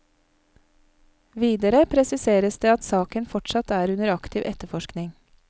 Videre presiseres det at saken fortsatt er under aktiv etterforskning.